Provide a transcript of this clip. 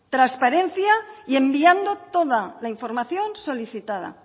trasparencia y enviando toda la información solicitada